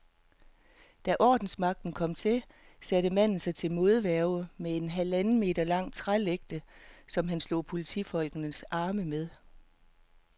Da ordensmagten kom til, satte manden sig til modværge med en halvanden meter lang trælægte, som han slog politifolkenes arme med.